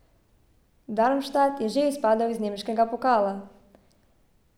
Darmstadt je že izpadel iz nemškega pokala.